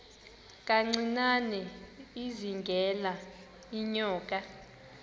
kancinane izingela iinyoka